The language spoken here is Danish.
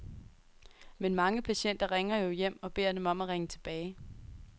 Men mange patienter ringer jo hjem og beder dem om at ringe tilbage.